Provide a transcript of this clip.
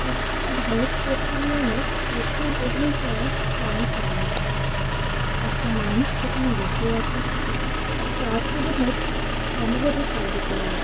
এটি একটা ভারত পেট্রোলিয়াম -এর পেট্রোল বোঝাই করা ট্রাঙ্ক মনে হচ্ছে। একটা মানুষ সেখানে বসে আছে এবং ট্রাঙ্ক -টা বোধ হয় সম্ভবত সার্ভিসিং -এস --